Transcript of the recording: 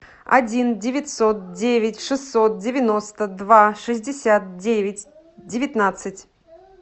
один девятьсот девять шестьсот девяносто два шестьдесят девять девятнадцать